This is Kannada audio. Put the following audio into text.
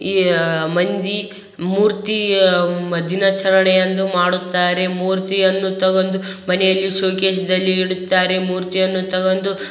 ಈ ಮಂದಿ ಮೂರ್ತಿ ದಿನಾಚರೆಣೆ ಎಂದು ಮಾಡುತ್ತಾರೆ ಮೂರ್ತಿಯನ್ನು ತಗೊಂಡು ಮನೆಯಲ್ಲಿ ಶೋಕೇಸ್ ದಲ್ಲಿ ಇಡುತ್ತಾರೆ ಮೂರ್ತಿಯನ್ನು ತಗೊಂಡು --